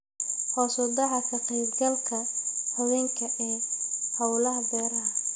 Hoos u dhaca ka qaybgalka haweenka ee hawlaha beeraha.